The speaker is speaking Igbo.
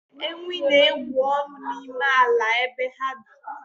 Ewii na-egwu ọnụ n'ime ala ebe ha bi